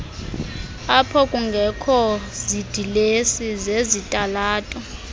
aphokungekho zidilesi zezitalato